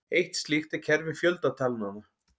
Eitt slíkt er kerfi fjöldatalnanna.